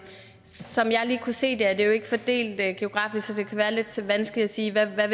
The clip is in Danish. som jeg lige kunne se det er det jo ikke fordelt geografisk så det kan være lidt vanskeligt at sige hvad